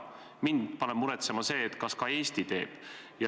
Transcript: Mind paneb muretsema see, kas ka Eesti teeb.